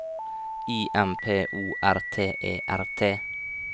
I M P O R T E R T